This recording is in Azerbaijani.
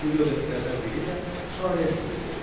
Bu dövlətlərdən biri də Xarəzm idi.